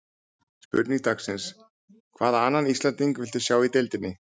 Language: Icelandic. Spurning dagsins: Hvaða annan Íslending viltu sjá í deildinni?